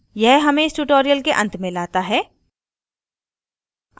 यह हमें इस tutorial के अंत में लाता है